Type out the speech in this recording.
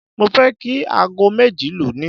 Mo fẹ́ kí aago méje lu ni